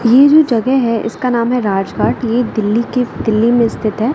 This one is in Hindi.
ये जो जगह है इसका नाम है राजघाट ये दिल्ली के किले में स्थित है।